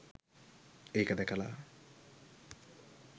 ඒක දැකලා